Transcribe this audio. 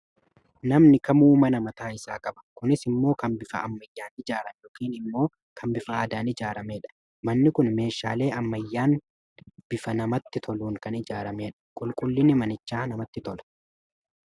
Namni kamuu mana mataa isaa qaba. Kunis immoo kan bifa ammayyaan ijaarame yookiin immoo kan bifa aadaan ijaaramedha. Manni Kun meeshaalee ammayyaan bifa namatti toluun kan ijaaramedha. Qulqullinni manichaa namatti tola.